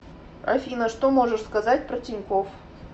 афина что можешь сказать про тинькофф